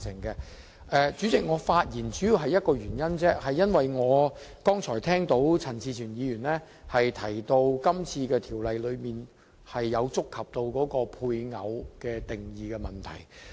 代理主席，我發言只是為了一個原因而已，便是我剛才聽到陳志全議員提到今次《條例草案》觸及配偶定義的問題。